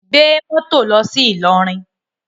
Gbé moto lọsi Ilorin!